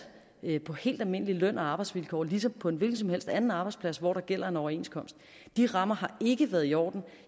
på helt almindelige løn og arbejdsvilkår ligesom på en hvilken som helst anden arbejdsplads hvor der gælder en overenskomst de rammer har ikke været i orden